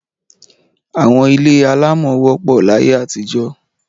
Àwọn ilé alámọ̀ wọ́pọ̀ láyé àtijọ́.